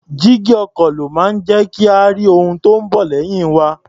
Jígí ọkọ̀ ló máa ń jẹ́ kí a rí ohun tí ó ń bọ̀ lẹ́yìn wa.